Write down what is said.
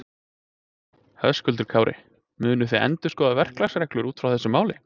Höskuldur Kári: Munuð þið endurskoða verklagsreglur út af þessu máli?